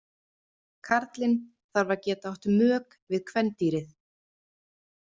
Karlinn þarf að geta átt mök við kvendýrið.